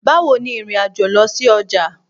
Bawo ni ìrìn-àjò lọ sí ọjà